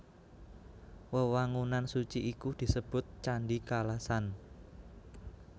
Wewangunan suci iku disebut Candhi Kalasan